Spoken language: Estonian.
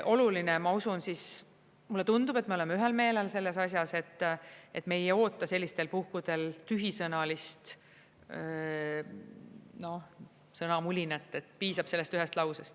Oluline, ma usun – mulle tundub, et me oleme ühel meelel selles asjas –, et me ei oota sellistel puhkudel tühisõnalist sõnamulinat, piisab sellest ühest lausest.